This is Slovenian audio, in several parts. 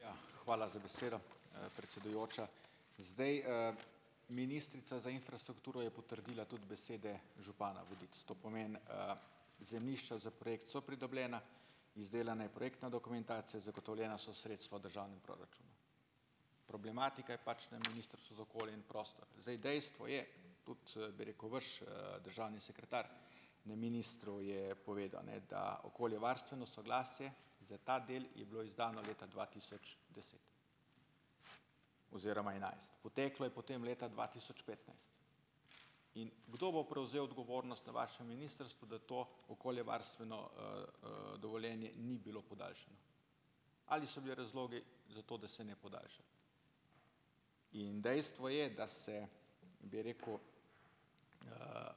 Ja, hvala za besedo, predsedujoča. Zdaj, ministrica za infrastrukturo je potrdila tudi besede župana Vodic. To pomeni, zemljišča za projekt so pridobljena, izdelana je projektna dokumentacija, zagotovljena so sredstva v državnem proračunu. Problematika je pač na Ministrstvu za okolje in prostor. Zdaj, dejstvo je, kot, bi rekel, vaš, državni sekretar na ministru je povedal, ne, da okoljevarstveno soglasje, ki za ta del je bilo izdano leta dva tisoč deset oziroma enajst. Poteklo je potem leta dva tisoč petnajst. In kdo bo prevzel odgovornost na vašem ministrstvu, da to okoljevarstveno, dovoljenje ni bilo podaljšano? Ali so bili razlogi za to, da se ne podaljša? In dejstvo je, da se, bi rekel,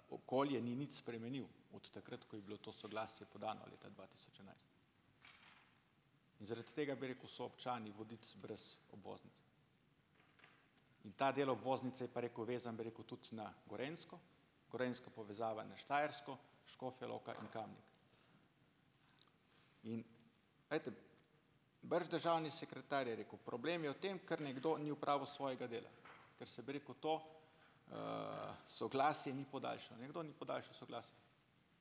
okolje ni nič spremenilo od takrat, ko je bilo to soglasje podano leta dva tisoč enajst. Zaradi tega, bi rekel, so občani Vodic brez obvoznice. Ta del obvoznice, pa rekel, vezan, bi rekel tudi na Gorenjsko, gorenjska povezava na Štajersko, Škofja Loka in Kamnik . Glejte. Vrš državni sekretar je rekel: "Problem je v tem, ker nekdo ni opravil svojega dela, ker sem rekel, to, soglasje ni podaljšano." Nekdo ni podaljšal soglasja.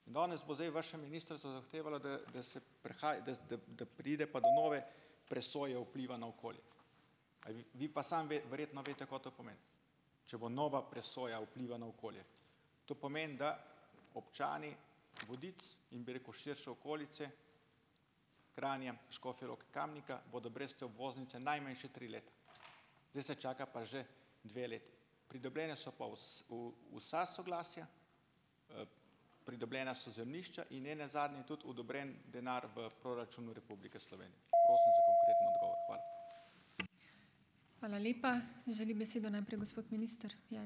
Danes bo zdaj vaša ministrica zahtevala, da, da se da, da, da, da pride pa do nove presoje vpliva na okolje. Vi pa samo verjetno veste, kaj to pomeni. Če bo nova presoja vpliva na okolje. To pomeni, da občani Vodic in, bi rekel, širše okolice Kranja, Škofje Loke, Kamnika bodo brez te obvoznice najmanj še tri leta. Zdaj se čaka pa že dve leti. Pridobljena so pa vsa soglasja, pridobljena so zemljišča in nenazadnje tudi odobren denar v proračunu Republike Slovenije. Prosim za konkreten odgovor. Hvala.